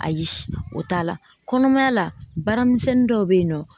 Ayi o t'a la kɔnɔmaya la baaramisɛnnin dɔw bɛ yen nɔ